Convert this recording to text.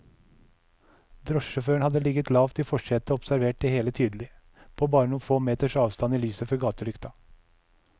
Drosjesjåføren hadde ligget lavt i forsetet og observert det hele tydelig, på bare noen få meters avstand i lyset fra gatelykta.